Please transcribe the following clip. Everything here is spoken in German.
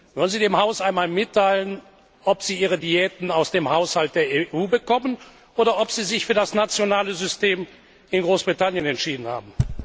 Wollen Sie dem Haus einmal mitteilen, ob Sie Ihre Diäten aus dem Haushalt der EU bekommen oder ob Sie sich für das nationale System in Großbritannien entschieden haben?